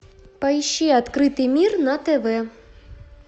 поищи открытый мир на тв